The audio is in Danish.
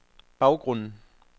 baggrunden